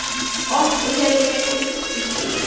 Oft hef ég iðrast þess síðan.